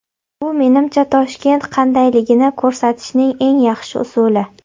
Bu, menimcha, Toshkent qandayligini ko‘rsatishning eng yaxshi usuli.